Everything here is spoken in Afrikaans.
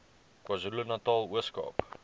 kwazulunatal ooskaap